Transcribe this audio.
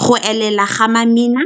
go elela ga mamina.